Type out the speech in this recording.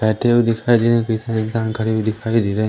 बैठे हुए दिखाई दे रहे कई सारे इंसान खडे हुए दिखाई दे रहे --